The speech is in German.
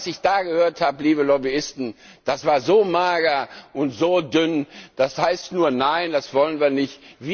Das, was ich da gehört habe, liebe Lobbyisten, das war so mager und dünn, das heißt nur Nein, das wollen wir nicht.